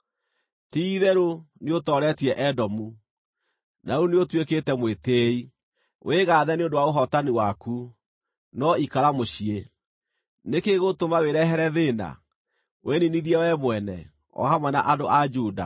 Ti-itherũ nĩũtooretie Edomu, na rĩu nĩũtuĩkĩte mwĩtĩĩi. Wĩgaathe nĩ ũndũ wa ũhootani waku, no ikara mũciĩ! Nĩ kĩĩ gĩgũtũma wĩrehere thĩĩna, wĩniinithie we mwene, o hamwe na andũ a Juda?”